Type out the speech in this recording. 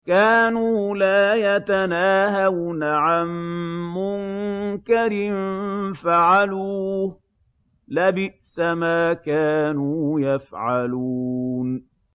كَانُوا لَا يَتَنَاهَوْنَ عَن مُّنكَرٍ فَعَلُوهُ ۚ لَبِئْسَ مَا كَانُوا يَفْعَلُونَ